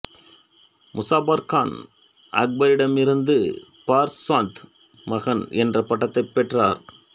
முசாபர் கான் அக்பரிடமிருந்து பர்சாந்த் மகன் என்ற பட்டத்தைப் பெற்றார்